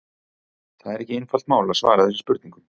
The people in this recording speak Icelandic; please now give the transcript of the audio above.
Það er ekki einfalt mál að svara þessum spurningum.